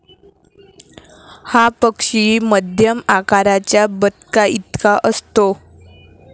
हा पक्षी मध्यम आकाराच्या बदकाइतका असतो.